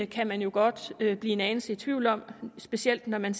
kan man jo godt blive en anelse i tvivl om specielt når man